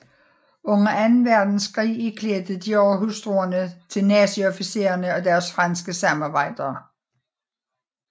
Under Anden Verdenskrig iklædte Dior hustruerne til naziofficiere og deres franske samarbejdere